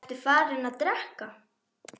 Ertu farinn að drekka?